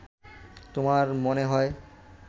তোমার মনে হয়